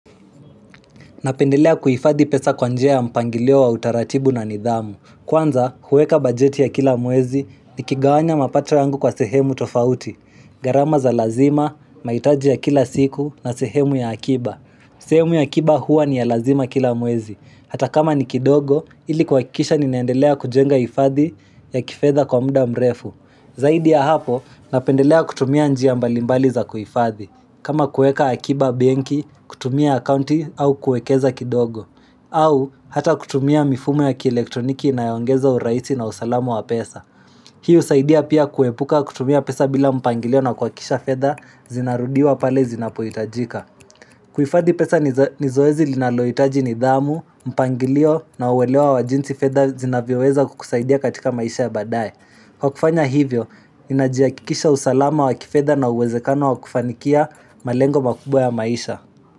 Napendelea kuifadhi pesa kwa njia ya mpangilio wa utaratibu na nidhamu. Kwanza, huweka bajeti ya kila mwezi ni kigawanya mapato yangu kwa sehemu tofauti. Gharama za lazima, maitaji ya kila siku na sehemu ya akiba. Sehemu ya akiba huwa ni ya lazima kila mwezi. Hata kama ni kidogo, ili kwa kikisha ninaendelea kujenga hifadhi ya kifedha kwa muda mrefu. Zaidi ya hapo, napendelea kutumia njia mbalimbali za kuifadhi. Kama kueka akiba bengi, kutumia akaunti au kuekeza kidogo au hata kutumia mifumo ya kielektroniki na yongeza uraisi na usalamu wa pesa Hii usaidia pia kuepuka kutumia pesa bila mpangilio na kwa kisha fedha zinarudiwa pale zinapuitajika Kuifadi pesa nizoezi linaloitaji ni dhamu, mpangilio na uwelewa wa jinsi fedha zinavyeweza kukusaidia katika maisha ya badaye Kwa kufanya hivyo, inajiakikisha usalama wa kifeda na uwezekano wa kufanikia malengo makubwa ya maisha.